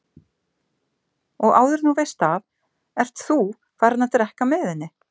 Og áður en þú veist af ert ÞÚ farinn að drekka með henni!